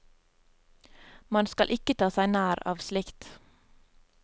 Man skal ikke ta seg nær av slikt.